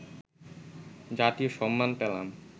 জাতীয় সম্মান পেলাম